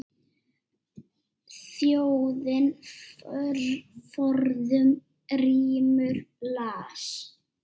Þjóðin forðum rímur las.